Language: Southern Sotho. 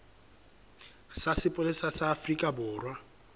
sa sepolesa sa afrika borwa